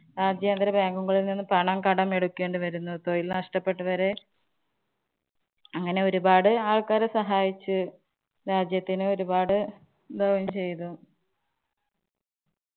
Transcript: രാജ്യാന്തര bank കളില്‍ നിന്നും കടമെടുക്കേണ്ടി വരുന്നു. തൊഴില്‍ ഷ്ടപ്പെട്ടവരെ അങ്ങനെ ഒരുപാട് ആള്‍ക്കാരെ സഹായിച്ചു. രാജ്യത്തിനോരുപാട് ഇതാവുകേം ചെയ്തു.